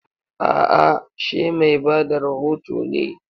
A'a, she mai ba da rohoto ne.